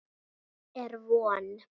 Er von?